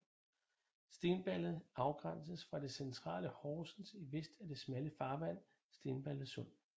Stensballe afgrænses fra det centrale Horsens i vest af det smalle farvand Stensballe Sund